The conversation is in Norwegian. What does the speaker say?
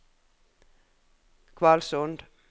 Kvalsund